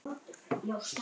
Keypti bíl og annan.